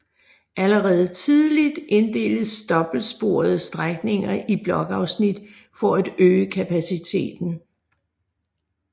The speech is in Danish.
Allerede tidligt inddeltes dobbeltsporede strækninger i blokafsnit for at øge kapaciteten